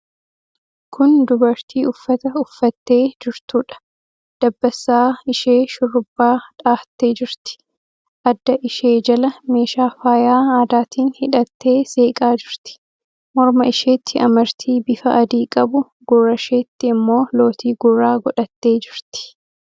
Kun dubartii uffata uffattee jirtuudha. Dabbasaa ishee shurrubbaa dhahattee jirti. Adda ishee jala meeshaa faayaa aadaatiin hidhattee seeqaa jirti. Morma isheetti amartii bifa adii qabu, gurra isheetti immoo lootii gurraa godhattee jirti.